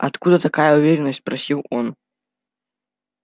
откуда такая уверенность спросил он